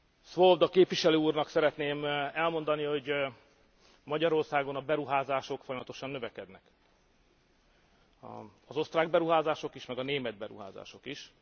Swoboda képviselő úrnak szeretném elmondani, hogy Magyarországon a beruházások folyamatosan növekednek, az osztrák beruházások is, meg a német beruházások is.